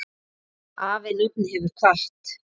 Afi nafni hefur kvatt.